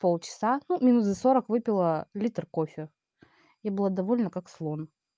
полчаса ну минут за сорок выпила литр кофе я была довольна как слон